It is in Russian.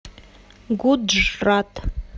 гуджрат